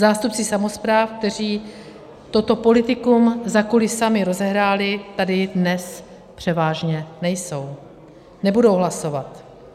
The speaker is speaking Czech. Zástupci samospráv, kteří toto politikum za kulisami rozehráli, tady dnes převážně nejsou, nebudou hlasovat.